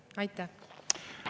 Aitäh!